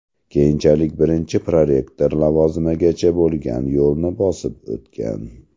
Keyinchalik birinchi prorektor lavozimigacha bo‘lgan yo‘lni bosib o‘tgan.